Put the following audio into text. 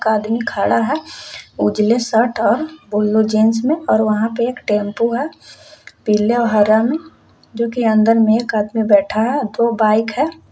एक आदमी खड़ा है उजाले शर्ट और बुलू जींस में और वहां पे एक टेंपो है पीले और हरा में जोकी अंदर में एक आदमी बैठा है और दो बाइक है।